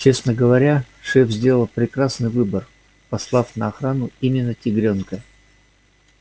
честно говоря шеф сделал прекрасный выбор послав на охрану именно тигрёнка